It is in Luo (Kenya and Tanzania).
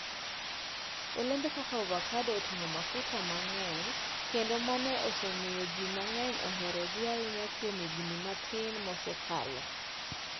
Olembe kaka avocado oting'o mafuta mang'eny kendo mano osemiyo ji mang'eny oherogi ahinya kuom higini matin mosekalo.